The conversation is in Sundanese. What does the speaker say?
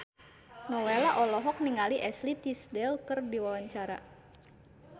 Nowela olohok ningali Ashley Tisdale keur diwawancara